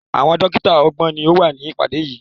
Àwọn dọ́kítá ọgbọ̀n ni ó wà ní ìpàdé yìí.